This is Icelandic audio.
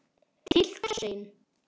Til hvers eigin